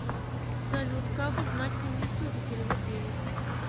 салют как узнать комиссию за перевод денег